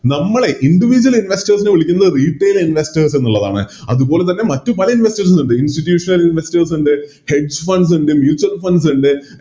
നമ്മളെ Individual investors നെ വിളിക്കുന്നത് Retail investors എന്നുള്ളതാണ് അതുപോലെതന്നെ മറ്റു പല Investors ഉം ഇണ്ട് Institutional investors ഇണ്ട് Funds ഇണ്ട് Mutual funds ഇണ്ട്